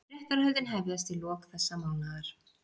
Réttarhöldin hefjast í lok þessa mánaðar